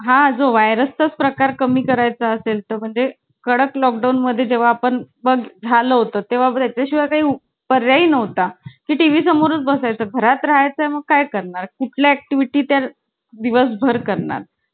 तो घरी खेळता खेळताना पडला होता तर त्याचा पाय आहे ना? fracture झालेला. आणि शाळेत माहिती आहे ना खाली बसायचं दप्तर घेऊन. असं लाइनमध्ये पहिले line दुसरी line असं. आणि पहिलीत काय असं